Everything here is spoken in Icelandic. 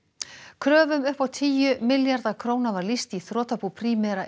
kröfum upp á tíu milljarða króna var lýst í í þrotabú Primera